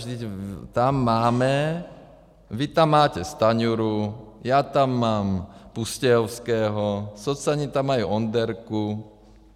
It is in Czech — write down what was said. Vždyť tam máme, vy tam máte Stanjuru, já tam mám Pustějovského, socani tam mají Onderku.